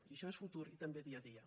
i això és futur i també dia a dia